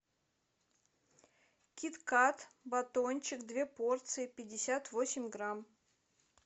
кит кат батончик две порции пятьдесят восемь грамм